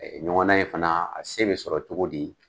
Ɲɔgɔna in fana a se bɛ sɔrɔ cogo di?